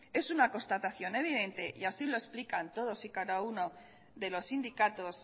es una constatación evidente y así lo explican todos y cada uno de los sindicatos